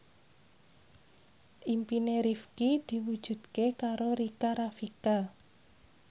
impine Rifqi diwujudke karo Rika Rafika